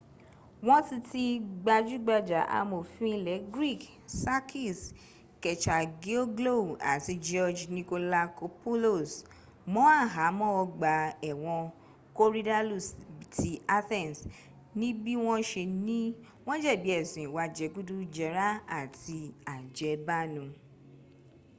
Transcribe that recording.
wọ́n ti ti gbajúgbajà amòfin ilẹ greek sakis kechagioglou àti george nikolakopoulos mọ́ àhámọ́ ọgbà ẹ̀wọ̀n korydallus ti athens níbí wọ́n se ní wọ́n jẹ̀bi ẹ̀sùn ìwà jẹgúdújẹrá àti àjẹbánu